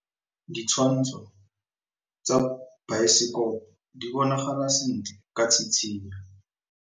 Ditshwantshô tsa biosekopo di bonagala sentle ka tshitshinyô.